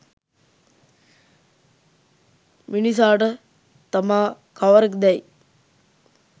මිනිසාට තමා කවරෙක් දැයි